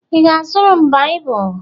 Ị ga-azụrụ Baịbụl?